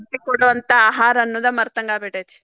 ಶಕ್ತಿ ಕೊಡುವಂತ ಆಹಾರ ಅನೋದ್ ಮರತಂಗಾಗಿಬಿಟ್ಟೆತಿ